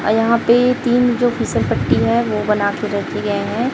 अं यहां पे तीन जो फिसल पट्टी है वो बनाके रखे गए है।